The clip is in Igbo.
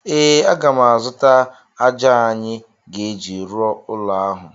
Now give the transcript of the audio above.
Ee, aga m azụta ájá anyị ga-eji rụọ ụlọ ahụ.